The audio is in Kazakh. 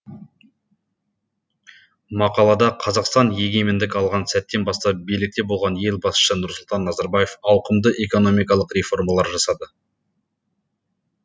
мақалада қазақстан егемендік алған сәттен бастап билікте болған ел басшысы нұрсұлтан назарбаев ауқымды экономикалық реформалар жасады